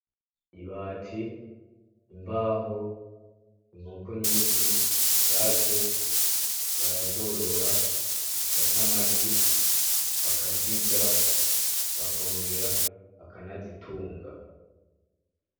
Ibati, imbaho ,inkoko nyinshi, isake barazorora zigata amagi bakazirya ,bakongera bakanazitunga .